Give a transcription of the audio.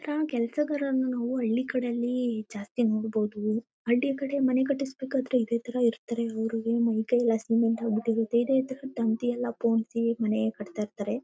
ಇತರ ಕೆಲಸಗಾರನ್ನ ನಾವು ಹಳ್ಳಿ ಕಡೇಲಿ ಜಾಸ್ತಿ ನೋಡ್ಬಹುದು. ಹಳ್ಳಿ ಕಡೆ ಮನೆ ಕಟಿಸಬೇಕಾದ್ರೆ ಇದೆ ತರ ಇರ್ತರೆ ಅವುರುವೆ ಮೈ ಕೈಯಲ್ಲಿ ಸಿಮೆಂಟ್ ಆಗ್ ಬಿಟ್ಟಿರುತ್ತೆ ಇದೆ ತರ ತಂತಿಯಲ್ಲಾ ಪೊಂಸಿ ಮನೆ ಕಟ್ಟುತಾ ಇರ್ತರೆ.